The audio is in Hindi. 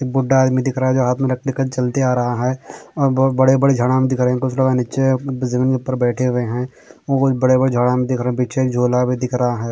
एक बूढा हैं इनमे दिख रहा हैं हाथ में लठ्ठ लेके चलते आ रहा हैं और बहुत बड़े बड़े झाडां दिख रहे हैं कुछ लोग हैं नीचे जमीन के ऊपर बैठे हुए हैं बहुत बड़े बड़े झाडां दिख रहे हैं पीछे एक झोला भी दिख रहा हैं।